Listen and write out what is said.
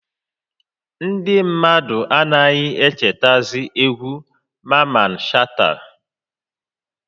Ndị mmadụ anaghị echetazị egwu Maman Shata